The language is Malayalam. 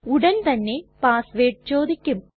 ഉടൻ തന്നെ പാസ് വേർഡ് ചോദിക്കും